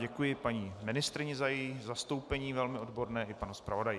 Děkuji paní ministryni za její zastoupení velmi odborné i panu zpravodaji.